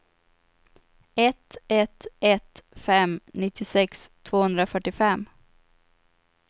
ett ett ett fem nittiosex tvåhundrafyrtiofem